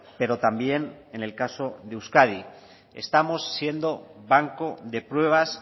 pero también en el caso de euskadi estamos siendo banco de pruebas